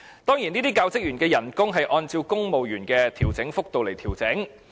當然，這些教職員的薪酬均按照公務員薪酬調整幅度來調整。